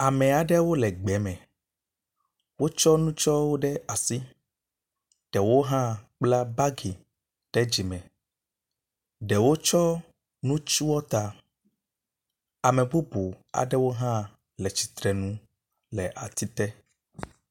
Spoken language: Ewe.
Ame aɖewo le gbe me wotsɔ nutso ɖe asi. Ɖewo hã kpla bagi ɖe megbe ɖewo hã wortsɔ nu tsɔ ta. Ame bubu aɖewo hã le tsitre le atsi te.